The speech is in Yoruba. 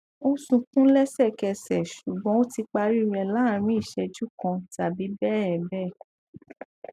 ó sunkún lẹsẹkẹsẹ ṣùgbọn ó ti parí rẹ láàárín ìṣẹjú kan tàbí bẹẹ bẹẹ